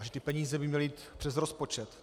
A že ty peníze by měly jít přes rozpočet.